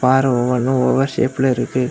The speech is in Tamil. பாற ஒவ்வொன்னும் ஒவ்வொரு ஷேப்ல இருக்கு.